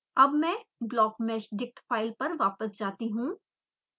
अब मैं blockmeshdict file पर वापस जाती हूँ